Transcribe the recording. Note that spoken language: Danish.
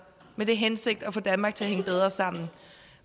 med den hensigt at få danmark til at hænge bedre sammen